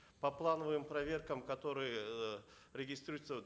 по плановым проверкам которые э регистрируются